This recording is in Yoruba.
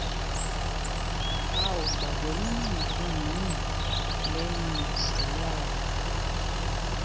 a ò gbàgbọ́ nínú nǹkan mi-ín lẹ́yìn àdúrà o